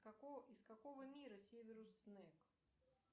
какого из какого мира северус снегг